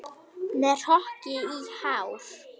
Með hrokkið hár.